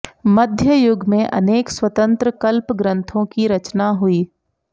मध्ययुग में अनेक स्वतन्त्र कल्प ग्रन्थों की रचना हुई